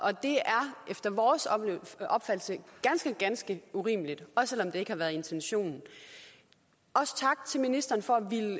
efter vores opfattelse ganske ganske urimeligt også selv om det ikke har været intentionen også tak til ministeren for